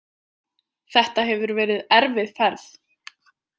Þetta hefur verið erfið ferð.